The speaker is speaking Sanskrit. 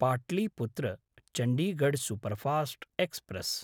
Pataliputra Chandigarh superfast express